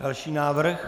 Další návrh?